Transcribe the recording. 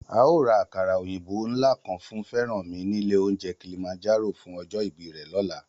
A óò ra àkàrà òyìnbó ńlá kan fún Fẹ́rànmi nílé oúnjẹ Kilimanjaro fún ọjọ́ ìbí rẹ̀ lọ́la